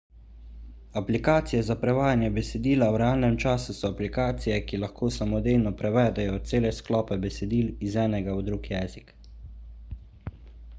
aplikacije za prevajanje besedila v realnem času so aplikacije ki lahko samodejno prevedejo cele sklope besedil iz enega v drug jezik